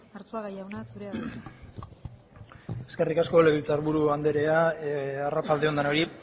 arzuaga jauna zurea da hitza eskerrik asko legebiltzar buru andrea arratsalde on denoi